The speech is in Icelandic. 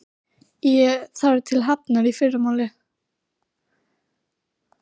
Ég þarf til Hafnar í fyrramálið.